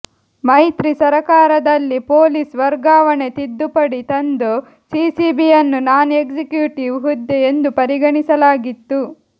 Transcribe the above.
ಮೈತ್ರಿ ಸರ್ಕಾರದಲ್ಲಿ ಪೊಲೀಸ್ ವರ್ಗಾವಣೆಗೆ ತಿದ್ದುಪಡಿ ತಂದು ಸಿಸಿಬಿಯನ್ನು ನಾನ್ ಎಕ್ಸಿಕ್ಯುಟಿವ್ ಹುದ್ದೆ ಎಂದೂ ಪರಿಗಣಿಸಲಾಗಿತ್ತು